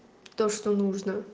то что нужно